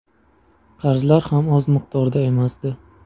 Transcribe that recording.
Qarzlar ham oz miqdorda emasdi.